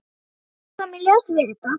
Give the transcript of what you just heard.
Tvennt kom í ljós við þetta.